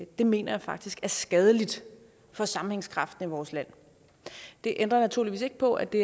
det mener jeg faktisk er skadeligt for sammenhængskraften i vores land det ændrer naturligvis ikke på at det